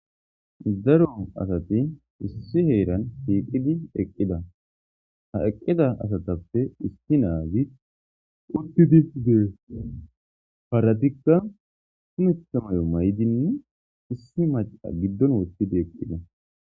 Daro asati issi heranni shiqidi eqida haa eqida asatappe issi naazi uttidi dees haratikka kumeththa mayo mayidinne issi maca giddonni woththidi eqidaa .